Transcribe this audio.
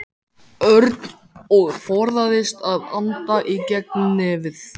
Örn og forðaðist að anda í gegnum nefið.